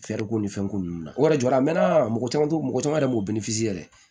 ko ni fɛn ko ninnu na o yɛrɛ jɔra a mɛɛnna mɔgɔ caman t'o mɔgɔ caman yɛrɛ m'o yɛrɛ